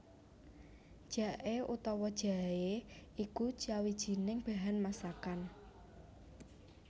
Jaé utawa jahé iku sawijining bahan masakan